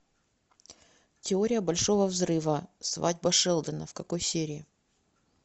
теория большого взрыва свадьба шелдона в какой серии